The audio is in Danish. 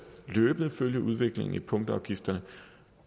løbende at følge udviklingen i punktafgifterne